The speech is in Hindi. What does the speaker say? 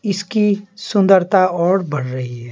इसकी सुंदरता और बढ़ रही है।